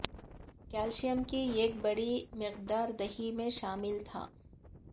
calcium کی ایک بڑی مقدار دہی میں شامل تھا